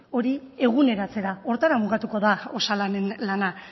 hori eguneratzera horretara mugatuko da osalanen lana